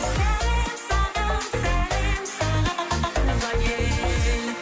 сәлем саған сәлем саған туған ел